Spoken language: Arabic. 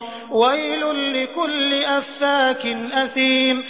وَيْلٌ لِّكُلِّ أَفَّاكٍ أَثِيمٍ